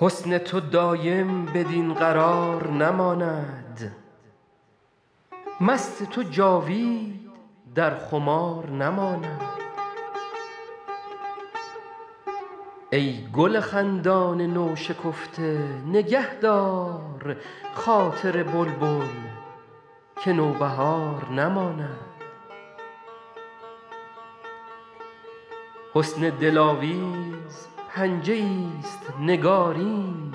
حسن تو دایم بدین قرار نماند مست تو جاوید در خمار نماند ای گل خندان نوشکفته نگه دار خاطر بلبل که نوبهار نماند حسن دلاویز پنجه ایست نگارین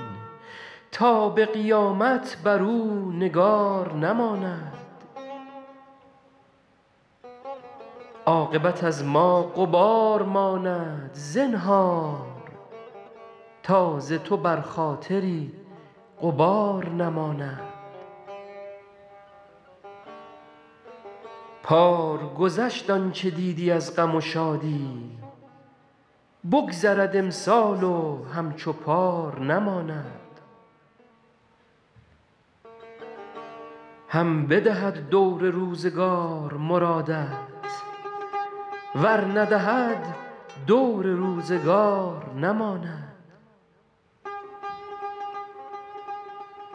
تا به قیامت بر او نگار نماند عاقبت از ما غبار ماند زنهار تا ز تو بر خاطری غبار نماند پار گذشت آن چه دیدی از غم و شادی بگذرد امسال و همچو پار نماند هم بدهد دور روزگار مرادت ور ندهد دور روزگار نماند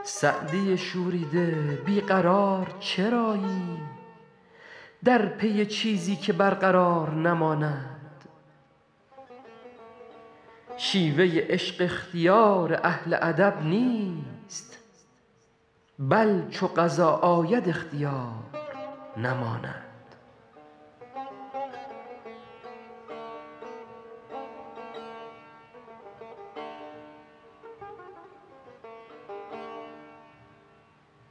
سعدی شوریده بی قرار چرایی در پی چیزی که برقرار نماند شیوه عشق اختیار اهل ادب نیست بل چو قضا آید اختیار نماند